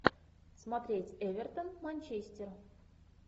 смотреть эвертон манчестер